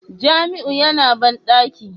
Jamiu yana bandaki